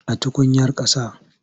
A tukuyar ƙasa.